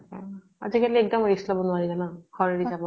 আজি কালি এক্দম risk লব নোৱাৰি জানা। ঘৰ এৰি যাবৰ